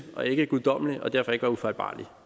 og ikke guddommelig og derfor ikke var ufejlbarlig